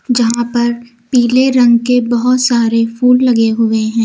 यहां पर पीले रंग के बहुत सारे फूल लगे हुए हैं।